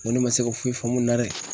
N ko ne ma se ka foyi faamu nin na dɛ!